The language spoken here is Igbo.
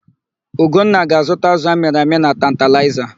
Ugonna ga-azụta ázụ̀ amịrị amị na Tantalaịza.